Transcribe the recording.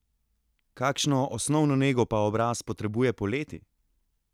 Kakšno osnovno nego pa obraz potrebuje poleti?